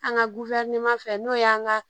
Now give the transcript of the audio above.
An ka guwɛrneman fɛ n'o y'an ka